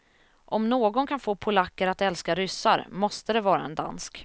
Om någon kan få polacker att älska ryssar måste det vara en dansk.